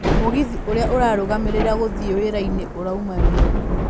mũgithi ũria ũrarũmirĩra gũthiĩ wira-inĩ ũrauma rĩ